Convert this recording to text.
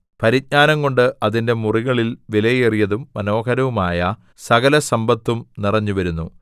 പരിജ്ഞാനംകൊണ്ട് അതിന്റെ മുറികളിൽ വിലയേറിയതും മനോഹരവുമായ സകലസമ്പത്തും നിറഞ്ഞുവരുന്നു